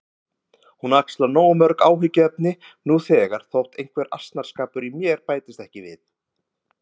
Hún axlar nógu mörg áhyggjuefni nú þegar þótt einhver asnaskapur í mér bætist ekki við